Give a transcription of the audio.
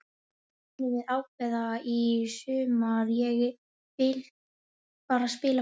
Það munum við ákveða í sumar, ég vil bara spila fótbolta.